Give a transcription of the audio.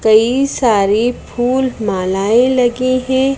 कई सारी फूल मालाएं लगी हैं।